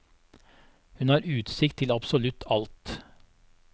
Hun har utsikt til absolutt alt.